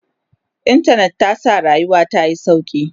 intanet ta sa rayuwa tayi sauƙi